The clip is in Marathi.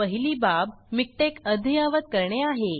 पहिली बाब मिकटेक अद्यायावत करणे आहे